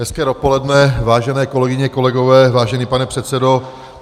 Hezké dopoledne, vážené kolegyně, kolegyně, vážený pane předsedo.